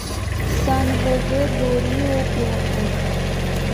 сан жозе ду риу прету